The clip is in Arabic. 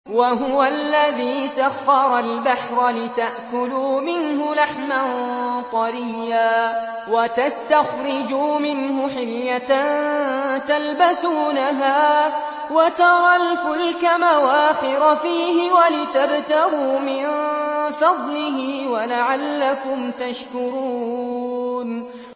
وَهُوَ الَّذِي سَخَّرَ الْبَحْرَ لِتَأْكُلُوا مِنْهُ لَحْمًا طَرِيًّا وَتَسْتَخْرِجُوا مِنْهُ حِلْيَةً تَلْبَسُونَهَا وَتَرَى الْفُلْكَ مَوَاخِرَ فِيهِ وَلِتَبْتَغُوا مِن فَضْلِهِ وَلَعَلَّكُمْ تَشْكُرُونَ